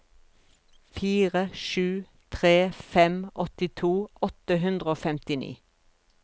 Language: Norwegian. fire sju tre fem åttito åtte hundre og femtini